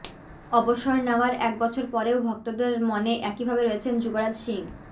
অবসর নেওয়ার এক বছর পরেও ভক্তদের মনে একইভাবে রয়েছেন যুবরাজ সিং